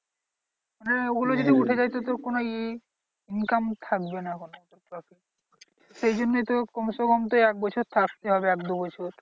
মানে ওগুলো যদি উঠে যায় তো তোর কোনো ইয়ে income থাকবে না কোনো। সেই জন্যই তো কমসেকম তো এক বছর থাকতে হবে এক দু বছর।